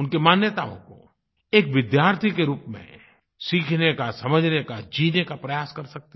उनकी मान्यताओं को एक विद्यार्थी के रूप में सीखने का समझने का जीने का प्रयास कर सकते हैं